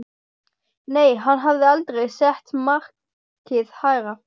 Nei, hann hafði aldrei sett markið hærra.